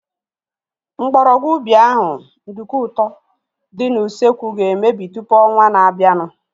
Mgbọrọgwụ ubi ahu (nduku ụtọ) dị n'usekwu ga-emebi tụpụ ọnwaa na-abianu